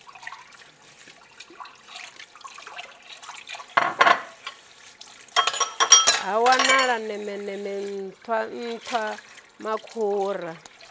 ha wanala nemeneme nṱhwa nṱhwamakhura